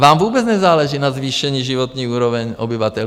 Vám vůbec nezáleží na zvýšení životní úrovně obyvatel.